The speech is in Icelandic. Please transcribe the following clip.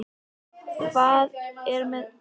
Hvað er með hann Birgi Björn?